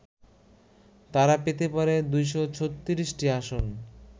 তারা পেতে পারে ২৩৬টি আসন